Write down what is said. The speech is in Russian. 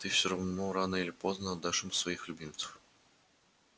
ты всё равно рано или поздно отдашь им своих любимцев